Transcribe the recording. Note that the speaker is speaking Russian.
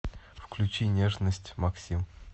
включи нежность максим